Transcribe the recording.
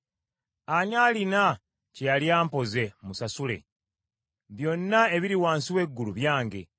Ani alina kye yali ampoze musasule? Byonna ebiri wansi w’eggulu byange.